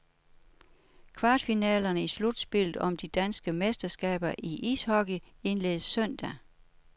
Kvartfinalerne i slutspillet om det danske mesterskab i ishockey, indledes søndag.